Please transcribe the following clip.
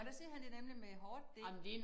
Og der siger han det nemlig med hårdt D